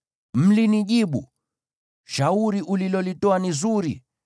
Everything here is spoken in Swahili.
Mlinijibu, “Shauri ulilolitoa ni zuri.”